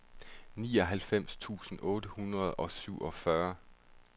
nioghalvfems tusind otte hundrede og syvogfyrre